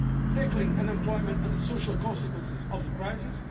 tackling unemployment and the social consequences of the crisis